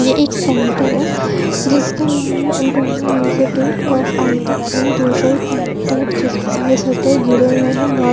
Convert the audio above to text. ये एक सेंटर है जिसका नाम है ओटोमा institute of IT and tuition centre जिससेटर गिरे हुए हैं।